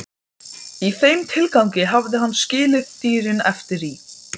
Og hversvegna ertu að flytja mér svo flókinn boðskap?